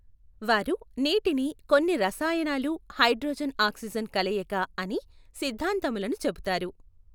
వారు నీటిని కొన్ని రసాయనాలు హైడ్రోజన్ ఆక్సిజన్ కలయిక అని సిద్ధాంతములను చెప్పుతారు.